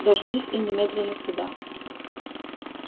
дождись и немедленно сюда